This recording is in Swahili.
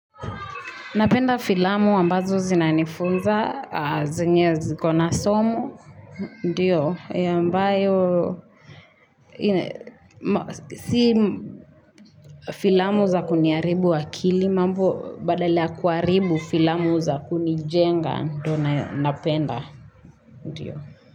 Napenda filamu ambazo zinanifunza, zenye ziko na somo, ndiyo, ambayo, si filamu za kuniharibu akili, mambo badala ya kuharibu filamu za kunijenga, ndo napenda, ndiyo.